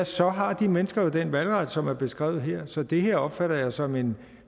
så har de mennesker den valgret som er beskrevet her så det her opfatter jeg som en